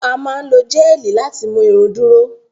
A máa n lo géelí láti mú irun duro.